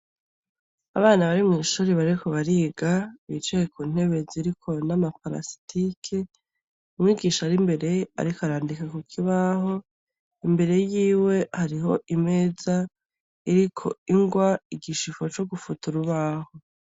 Abana bari mw’ishure bariko bariga bicaye ku ntebe ziriko nama plastic, umwigisha ari imbere ariko arandiko ku kibaho imbere yiwe hariho imeza iriko ingwa, igishifo co gufuta urubaho.